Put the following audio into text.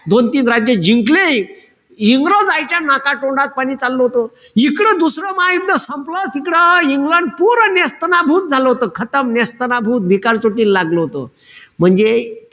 दोन-तीन राज्य जिंकले. इंग्रजायच्या नाकातोंडात पाणी चाललं होतं. इकडं दुसरं महायुद्ध संपलं तिकडं इंग्लंड पुरं नेस्तनाबूत झालं होतं. नेस्तनाबूत, भिकारचोटी ला लागलं होतं. म्हणजे,